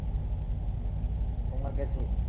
তোমার কাছে